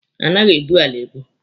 A naghị ebu ala ebu.